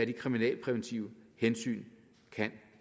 det kriminalpræventive hensyn kan